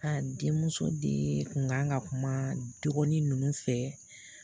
A den muso de kun kan ka kuma dɔgɔni ninnu fɛ